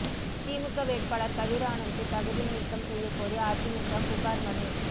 திமுக வேட்பாளர் கதிர் ஆனந்த்தை தகுதி நீக்கம் செய்யக்கோரி அதிமுக புகார் மனு